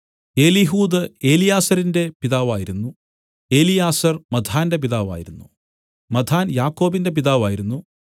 Eliud എലീയാസരിന്റെ പിതാവായിരുന്നു Eleazar മത്ഥാന്റെ പിതാവായിരുന്നു മത്ഥാൻ യാക്കോബിന്റെ പിതാവായിരുന്നു